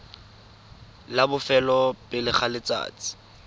la bofelo pele ga letsatsi